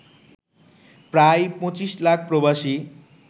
প্রায়২৫ লাখ প্রবাসী